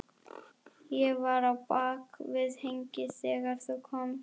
Ég var á bak við hengið þegar þú komst.